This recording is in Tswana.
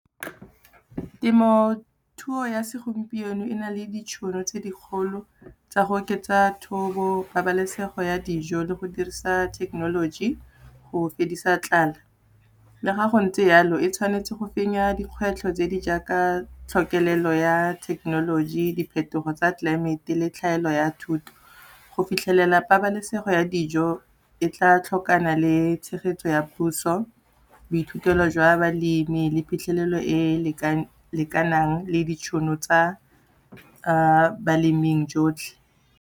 Temothuo ya segompieno e na le ditšhono tse di kgolo tsa go oketsa thobo, pabalesego ya dijo le go dirisa thekenoloji go fedisa tlala. Le ga go ntse jalo, e tshwanetse go fenya dikgwetlho tse di jaaka tlhokelelo ya thekenoloji, diphetogo tsa tlelaemete le tlhaelo ya thuto. Go fitlhelela pabalesego ya dijo, e tla tlhokana le tshegetso ya puso, boithutelo jwa balemi le phitlhelelo e lekanang le ditšhono tsa baleming jotlhe.